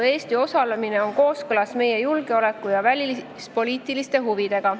Eesti osalemine on kooskõlas meie julgeoleku ja välispoliitiliste huvidega.